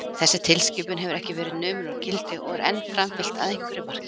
Þessi tilskipun hefur ekki verið numin úr gildi og er enn framfylgt að einhverju marki.